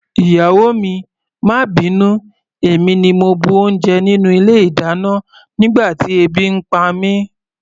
Ìyàwó mi, má bínú, èmi ni mo bu oúnjẹ nínú ilé-ìdáná nígbà tí ebi ń pa mí.